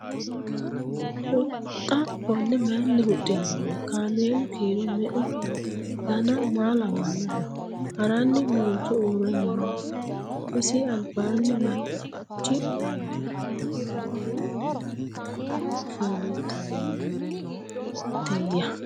Huxxa konne mayiinni huxinoonni? Kaammelu kiiro meu noo? Danna maa lawannoho? Haranni noonso uure nooho? Isi alibbanni mariachi nooya? doogo mayiinni loonsoonnitteya?